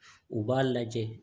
U b'a lajɛ